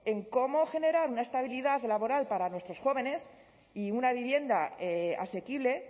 en cómo generar una estabilidad laboral para nuestros jóvenes y una vivienda asequible